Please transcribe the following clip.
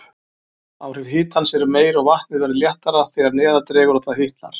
Áhrif hitans eru meiri, og vatnið verður léttara þegar neðar dregur og það hitnar.